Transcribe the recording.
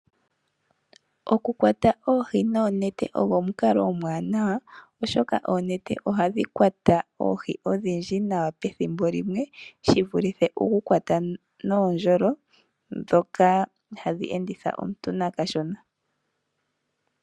Okukwata oohi noonete ogo omukalo omuwanawa oshoka oonete ohadhi kwata oohi odhindji nawa pethimbo limwe shivulithe okukwata noondjolo ndhoka hadhi enditha omuntu nakashona.